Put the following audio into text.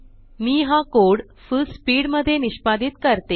मी हा code full speed मध्ये निष्पादीत करते